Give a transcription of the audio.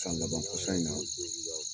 San laban kɔsa in na